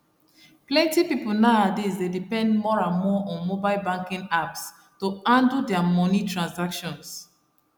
plenty people nowadays dey depend more and more on mobile banking apps to handle their moni transactions